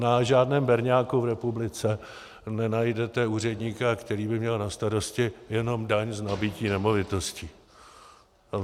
Na žádném berňáku v republice nenajdete úředníka, který by měl na starosti jenom daň z nabytí nemovitosti.